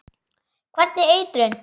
Hvernig eitrun?